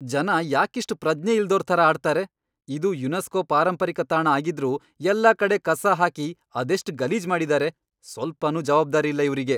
ಜನ ಯಾಕಿಷ್ಟ್ ಪ್ರಜ್ಞೆ ಇಲ್ದೋರ್ ಥರ ಆಡ್ತಾರೆ? ಇದು ಯುನೆಸ್ಕೋ ಪಾರಂಪರಿಕ ತಾಣ ಆಗಿದ್ರೂ ಎಲ್ಲಾ ಕಡೆ ಕಸ ಹಾಕಿ ಅದೆಷ್ಟ್ ಗಲೀಜ್ ಮಾಡಿದಾರೆ. ಸ್ವಲ್ಪನೂ ಜವಾಬ್ದಾರಿ ಇಲ್ಲ ಇವ್ರಿಗೆ.